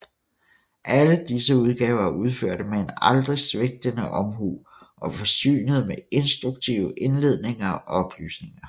Alle disse udgaver er udførte med en aldrig svigtende omhu og forsynede med instruktive indledninger og oplysninger